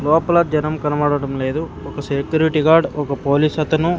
లోపల జనం కనబడటం లేదు ఒక సేక్యురిటి గార్డ్ ఒక పోలీస్ అతను--